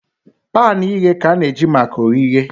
Pan ighe ka ana-eji maka oghighe